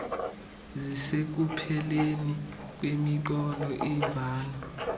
zisekupheleni kwemiqolo imvano